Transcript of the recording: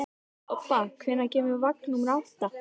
Obba, hvenær kemur vagn númer átta?